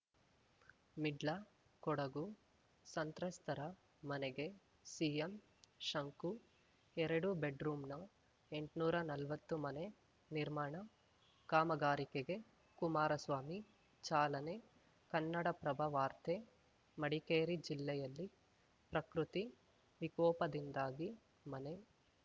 ಮಿಡ್ಲ ಕೊಡಗು ಸಂತ್ರಸ್ತರ ಮನೆಗೆ ಸಿಎಂ ಶಂಕು ಎರಡು ಬೆಡ್‌ರೂಂನ ಎಂಟ್ನೂರಾ ನಲ್ವತ್ತು ಮನೆ ನಿರ್ಮಾಣ ಕಾಮಗಾರಿಕೆಗೆ ಕುಮಾರಸ್ವಾಮಿ ಚಾಲನೆ ಕನ್ನಡಪ್ರಭ ವಾರ್ತೆ ಮಡಿಕೇರಿ ಜಿಲ್ಲೆಯಲ್ಲಿ ಪ್ರಕೃತಿ ವಿಕೋಪದಿಂದಾಗಿ ಮನೆ